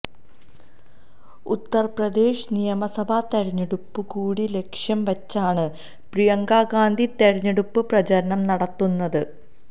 ഉത്തർപ്രദേശ് നിമസഭാ തെരഞ്ഞെടുപ്പു കൂടി ലക്ഷ്യം വച്ചാണ് പ്രിയങ്കഗാന്ധി തെരഞ്ഞെടുപ്പ് പ്രചരണം നടത്തുന്നത്